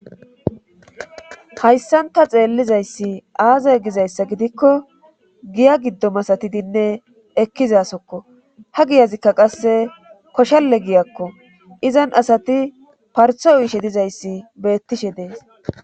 Hayssanta xeellizayssi aazay gizayssa gidikko giya giddomasatidinne ekkizasokko ha giyazikka qasse koshalle giyakko izan asati partho uishe dizayssi beettishe dees.